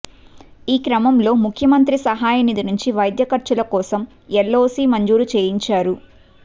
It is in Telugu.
ఈ క్రమంలో ముఖ్యమంత్రి సహాయనిధి నుంచి వైద్య ఖర్చుల కోసం ఎల్ఓసీ మంజూరు చేయించారు